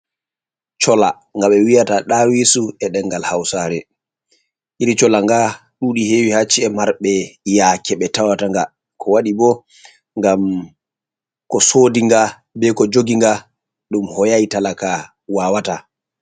Colla nga ɓe wiyata dawisu e dengal hausare. Iri cholla nga ɗuɗi hewi haa ci’e marɓe yaake ɓe tawata nga. Ko waɗi bo ngam ko sodi nga be ko jougi nga ɗum hoyai talaka wawata.